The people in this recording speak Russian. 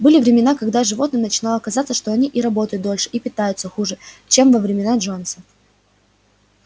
были времена когда животным начинало казаться что они и работают дольше и питаются хуже чем во времена джонса